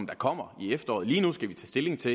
kommer i efteråret lige nu skal vi tage stilling til